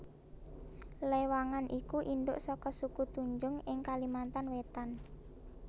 Lewangan iku indhuk saka suku Tunjung ing Kalimantan Wétan